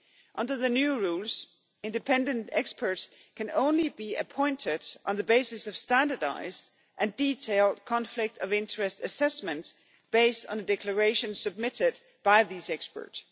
Under the new rules, independent experts can only be appointed on the basis of standardised and detailed conflict of interest assessment based on the declaration submitted by these experts.